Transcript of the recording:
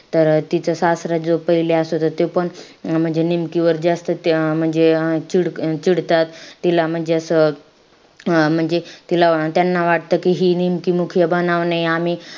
तर तिचा सासरा जो पहिले असत त तेपण म्हणजे निमकीवर जास्त ते अं म्हणजे अं चीड~ चिडतात. तिला म्हणजे असं अं म्हणजे तिला त्यांना वाटतं कि ही निमकी बनाव नाई.